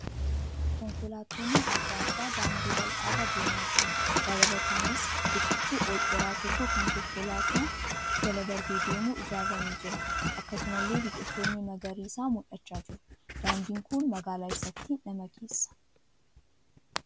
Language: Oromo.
Konkolaatoonn adda addaa daandii bal'aa irra deemaa jiru. Dabalataanis riqichi ol dheeraan tokko kan konkolaataan jala darbee deemu ijaaramee jira. Akkasumalle biqiloonni magariisaa mul'achaa jiru. Daandiin kun magaalaa eessaatti nama geessa?